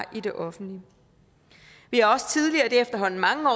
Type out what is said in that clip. i det offentlige vi har også tidligere det er efterhånden mange år